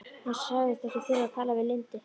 Hann sagðist ekki þurfa að tala við Lindu.